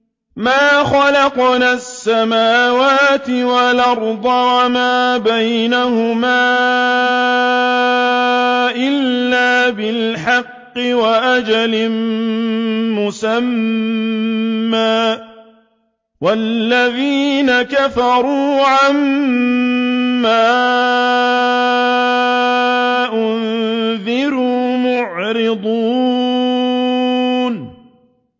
مَا خَلَقْنَا السَّمَاوَاتِ وَالْأَرْضَ وَمَا بَيْنَهُمَا إِلَّا بِالْحَقِّ وَأَجَلٍ مُّسَمًّى ۚ وَالَّذِينَ كَفَرُوا عَمَّا أُنذِرُوا مُعْرِضُونَ